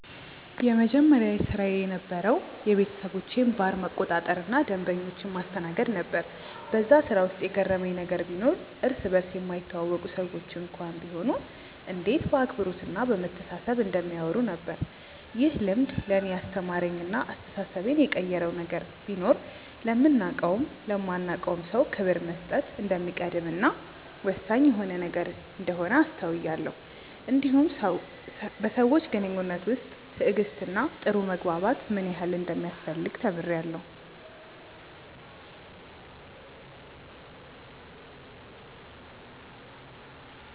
የመጀመሪያ ስራዬ የነበረዉ የቤተሰቦቼን ባር መቆጣጠር እና ደንበኞችን ማስተናገድ ነበር በዛ ስራ ውስጥ የገረመኝ ነገር ቢኖር እርስ በርስ የማይተዋወቁ ሰዎች እንኳን ቢሆኑ እንዴት በአክብሮት እና በመተሳሰብ እንደሚያወሩ ነበር። ይህ ልምድ ለእኔ ያስተማረኝ እና አስተሳሰቤን የቀየረው ነገር ቢኖር ለምናቀውም ለማናቀውም ሰው ክብር መስጠት እንደሚቀድም እና ወሳኝ የሆነ ነገር እንደሆነ አስተውያለው እንዲሁም በሰዎች ግንኙነት ውስጥ ትዕግስት እና ጥሩ መግባባት ምን ያህል እንደሚያስፈልግ ተምሬአለሁ።